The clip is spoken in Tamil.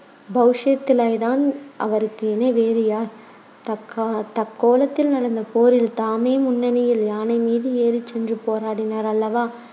பௌருஷத்திலேத்தான் அவருக்கு இணை வேறு யார் தக்கால~ தக்கோலத்தில் நடந்த போரில் தாமே முன்னணியில் யானை மீது ஏறிச் சென்று போராடினார் அல்லவா